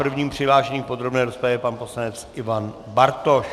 Prvním přihlášeným v podrobné rozpravě je pan poslanec Ivan Bartoš.